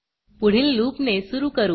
पुढील लूप ने सुरू करू